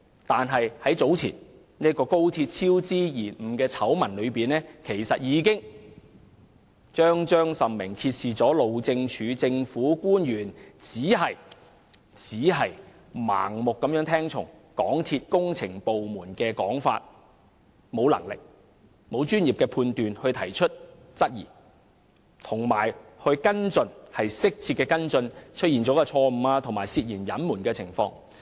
但是，早前高鐵工程超支延誤的醜聞，已彰彰甚明地揭示路政署的政府官員只是盲目聽從港鐵公司工程部門的說法，沒有能力和專業判斷提出質疑或就出錯及涉嫌隱瞞的情況作出適切跟進。